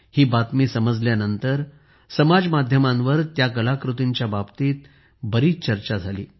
ही बातमी समजल्यानंतर समाज माध्यमांवर या कलाकृतींच्या बाबतीत खूप चर्चा झाली